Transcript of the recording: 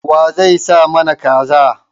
Wa zai sai mana Kaza.